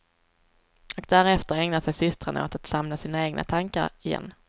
Och därefter ägnar sig systrarna åt att samla sina egna tankar igen.